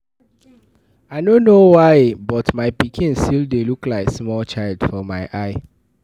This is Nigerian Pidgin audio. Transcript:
I no know why but my pikin still dey look like small child for my eye